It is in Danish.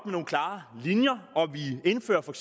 nogle klare linjer vi indfører for